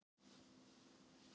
Það er ekki spurt um það.